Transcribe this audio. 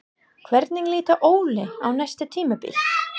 Hvernig lítur Óli á næsta tímabil?